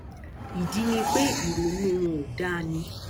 ìdí ni pé ìrònú wọn ò dáa ni